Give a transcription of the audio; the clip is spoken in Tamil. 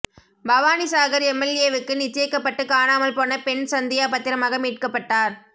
பவானிசாகர் எம்எல்ஏவுக்கு நிச்சயிக்கப்பட்டு காணாமல் போன பெண் சந்தியா பத்திரமாக மீட்கப்பட்டார்